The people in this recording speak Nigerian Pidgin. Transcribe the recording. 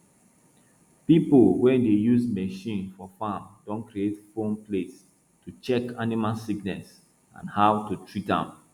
people wey dey use machine for farm don create phone place to check animal sickness and how to treat am